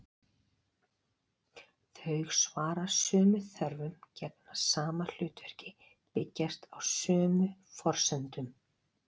Þau svara sömu þörfum, gegna sama hlutverki, byggjast á sömu forsendum.